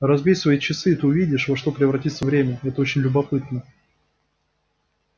разбей свои часы и ты увидишь во что превратится время это очень любопытно